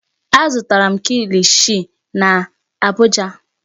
Azụtara m kikishi n'Abuja.